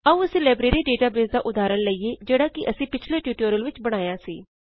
ਆਓ ਅਸੀ library database ਦਾ ਉਦਹਾਰਣ ਲਈਏ ਜਿਹਡ਼ਾ ਕਿ ਅਸੀ ਪਿਛਲੇ ਟਿਯੂਟੋਰਿਅਲ ਵਿਚ ਬਣਾਇਆ ਸੀ